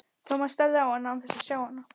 Thomas starði á hann án þess að sjá hann.